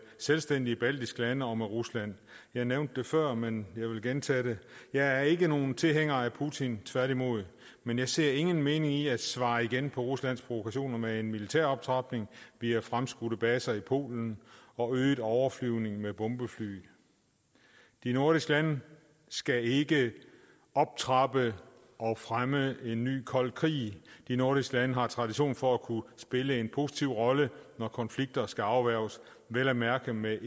selvstændige baltiske lande og med rusland jeg nævnte det før men jeg vil gentage det jeg er ikke nogen tilhænger af putin tværtimod men jeg ser ingen mening i at svare igen på ruslands provokationer med en militær optrapning via fremskudte baser i polen og øget overflyvning med bombefly de nordiske lande skal ikke optrappe og fremme en ny kold krig de nordiske lande har tradition for at kunne spille en positiv rolle når konflikter skal afværges vel at mærke med